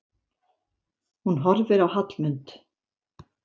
Hún horfir á Hallmund.